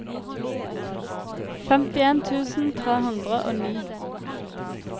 femtien tusen tre hundre og ni